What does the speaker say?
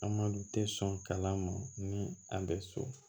An ma tɛ sɔn kalan ma ni an bɛ so